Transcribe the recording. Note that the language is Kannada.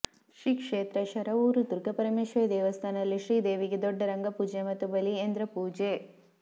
ಶ್ರೀ ಕ್ಷೇತ್ರ ಶರವೂರು ದುರ್ಗಾ ಪರಮೇಶ್ವರಿ ದೇವಸ್ಥಾನದಲ್ಲಿ ಶ್ರೀ ದೇವಿಗೆ ದೊಡ್ಡ ರಂಗ ಪೂಜೆ ಹಾಗೂ ಬಲಿಯೇಂದ್ರ ಪೂಜೆ